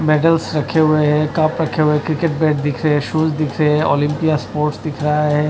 Medals रखे हुए है कप रखे हुए क्रिकेट बैट दिख रहे शूज दिख रहे ओलंपिया स्पोर्ट्स दिख रहा है।